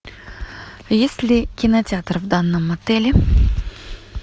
есть ли кинотеатр в данном отеле